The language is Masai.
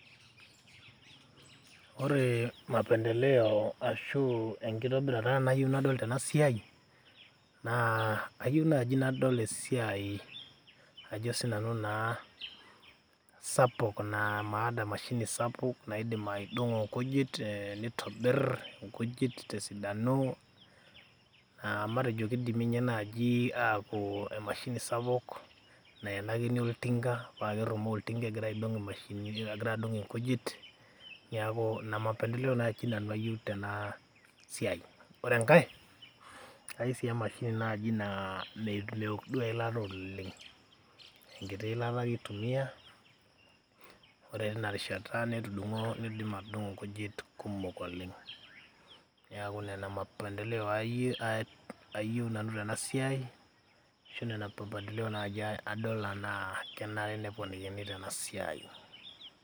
ore mapendeleo ashu enkitobirata nayieu nadol tena siai naa ayieu naaji nadol esiai ajo sinanu naa sapuk naa maada emashini sapuk naidim aidong'o nkujit nitobirr inkujit tesidano uh, matejo kidimi ninye naaji apuo emashini sapuk naenakini oltinka paa kerrumoo oltinka egira aidong imashinini, egira adung inkujit niaku ina mapendeleo naaji nanu ayieu tena siai ore enkae kayieu sii emashini naaji naa mewok duo eilata oleng enkiti ilata ake itumia ore tina rishata netudung'o nidim atudung'o inkujit kumok oleng niaku nena mapendeleo ayieu nanu tena siai ashu nena mapendeleo naaji adol anaa kenare neponikini tena siai.